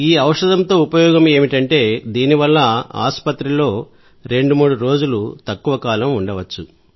ఈ ఔషధంతో ఉపయోగం ఏమిటంటే దీనివల్ల ఆసుపత్రిలో రెండు మూడు రోజులు తక్కువ కాలం ఉండవచ్చు